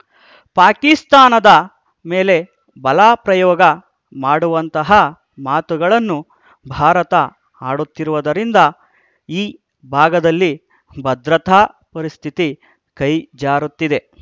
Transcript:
ಪಾಕಿಸ್ತಾನದ ಮೇಲೆ ಬಲ ಪ್ರಯೋಗ ಮಾಡುವಂತಹ ಮಾತುಗಳನ್ನು ಭಾರತ ಆಡುತ್ತಿರುವುದರಿಂದ ಈ ಭಾಗದಲ್ಲಿ ಭದ್ರತಾ ಪರಿಸ್ಥಿತಿ ಕೈಜಾರುತ್ತಿದೆ